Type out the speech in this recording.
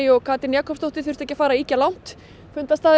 og Katrín Jakobsdóttir þurftu ekki að fara ýkja langt